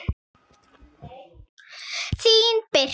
Þín Birta.